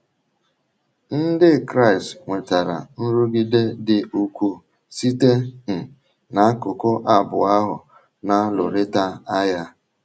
Ndị Kraịst nwetara nrụgide dị ukwuu site um n’akụkụ abụọ ahụ na - alụrịta agha.